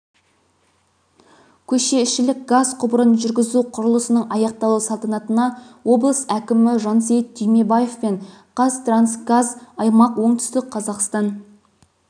көшеішілік газ құбырын жүргізу құрылысының аяқталу салтанатына облыс әкімі жансейіт түймебаев пен қазтрансгаз аймақ оңтүстік қазақстан